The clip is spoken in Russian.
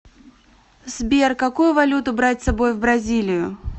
сбер какую валюту брать с собой в бразилию